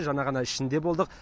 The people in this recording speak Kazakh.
жаңа ғана ішінде болдық